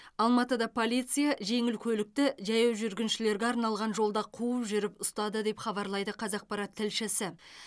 алматыда полиция жеңіл көлікті жаяу жүргіншілерге арналған жолда қуып жүріп ұстады деп хабарлайды қазақпарат тілшісі